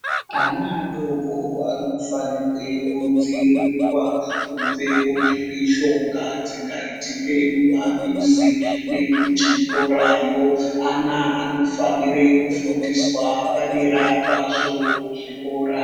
Ana adoko anofanirwe kudziirirwa ,kubve kumphirizhonga dzingaitike mumamizi, nekuchikorayo. Ana anofanire kufundiswa padera pazvo, kuzvikora.